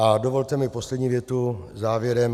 A dovolte mi poslední větu závěrem.